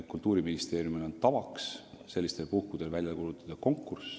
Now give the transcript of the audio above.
Kultuuriministeeriumil on tavaks sellistel puhkudel välja kuulutada konkurss.